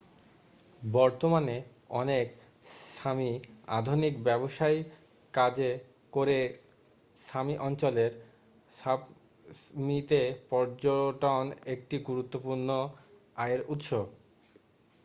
বর্তমানে অনেক সামি আধুনিক ব্যবসায় কাজ করে। সামি অঞ্চলের সাপমিতে পর্যটন একটি গুরুত্বপূর্ণ আয়ের উৎস।